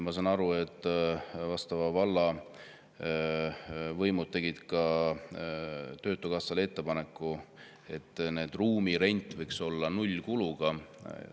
Ma saan aru, et võimud tegid töötukassale ettepaneku, et ruumide rent võiks olla nullkuluga.